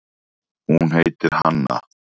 Hún heitir Hanna.